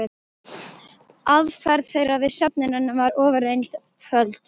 Aðferð þeirra við söfnunina var ofureinföld.